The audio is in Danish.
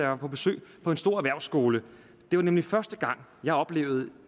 var på besøg på en stor erhvervsskole det var nemlig første gang jeg oplevede